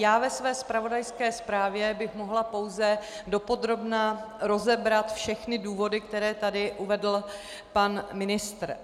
Já ve své zpravodajské zprávě bych mohla pouze dopodrobna rozebrat všechny důvody, které tady uvedl pan ministr.